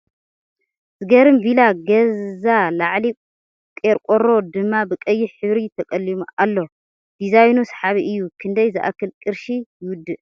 ዝገርም ቪላ ገዛ ላዕሊ ቂርቆሮ ድማ ብ ቀይሕ ሕብሪ ተቀሊሙ ኣሎ ። ድዛይኑ ሰሓቢ እዩ ። ክንደይ ዝኣክል ቅርሺ ይውድእ ?